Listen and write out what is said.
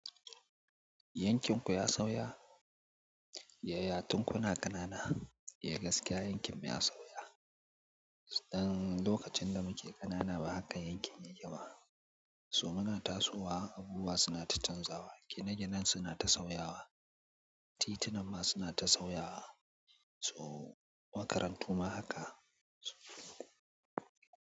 Yankin ku ya sauya? Yaya tun kuna ƙanana, ya gaskiya yankin mu ya sauya. Dan lokacin da muke ƙanana ba haka yankin yake ba. So muna tasowa, abubuwa suna ta canzawa, gine-gine suna ta sauyawa, tituna ma suna ta sauyawa. To makarantu ma haka.